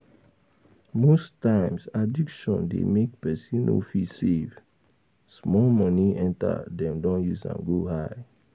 Most times addiction dey make person no fit save, small money enter dem don use am go high